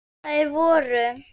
Þær voru